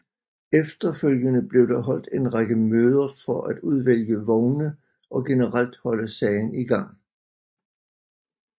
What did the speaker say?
Efterfølgende blev der holdt en række møder for at udvælge vogne og generelt holde sagen i gang